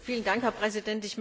Herr Präsident!